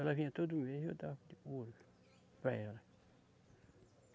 Ela vinha todo mês, eu dava o ouro para ela.